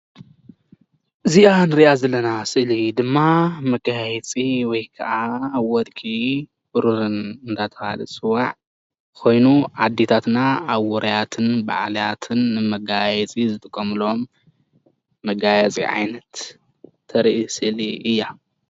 እዚኣ ንሪኣ ዘለና ስእሊ ድማ መጋየፂ ወይ ድማ ወርቂን ብሩርን እንዳ ተብሃለ ዝፅዋዕ ኮይኑ ኣዴታትና ኣብ ዉራያትን በዓላትን ንመጋየፂ ዝጥቀምሎም መጋየፂ ዓይነት ተርኢ ስእሊ እያ።